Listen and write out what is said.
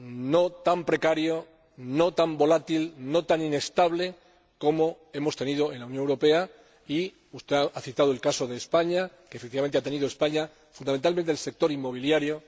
no tan precario, no tan volátil, no tan inestable como hemos tenido en la Unión Europea. Y usted ha citado el caso de España, que, efectivamente, lo ha padecido, fundamentalmente en el sector inmobiliario.